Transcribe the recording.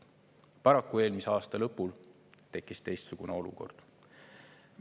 Paraku eelmise aasta lõpul tekkis teistsugune olukord.